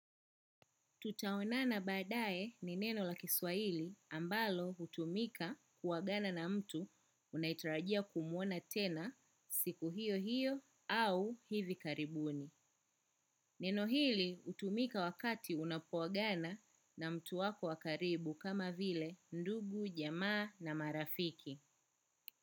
Tutaonana baadae ni neno la kiswahili ambalo hutumika ku agana na mtu unayetarajia kumuona tena siku hiyo hiyo au hivi karibuni. Neno hili hutumika wakati unapoagana na mtu wako wa karibu kama vile ndugu, jamaa na marafiki.